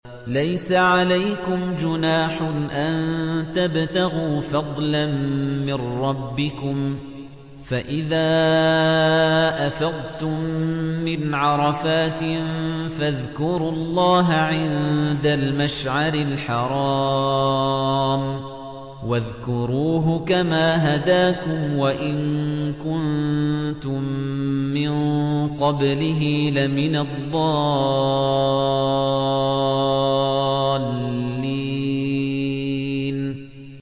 لَيْسَ عَلَيْكُمْ جُنَاحٌ أَن تَبْتَغُوا فَضْلًا مِّن رَّبِّكُمْ ۚ فَإِذَا أَفَضْتُم مِّنْ عَرَفَاتٍ فَاذْكُرُوا اللَّهَ عِندَ الْمَشْعَرِ الْحَرَامِ ۖ وَاذْكُرُوهُ كَمَا هَدَاكُمْ وَإِن كُنتُم مِّن قَبْلِهِ لَمِنَ الضَّالِّينَ